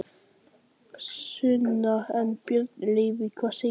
Sunna: En, Björn Leví, hvað segir þú?